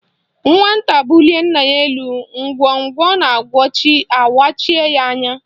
Nwata bulie nna ya elu, ngwongwo na ngwongwo awachie ya anya